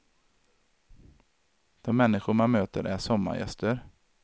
De människor man möter är sommargäster.